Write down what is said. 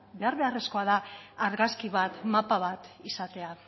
behar beharrezkoa da argazki bat mapa bat izatea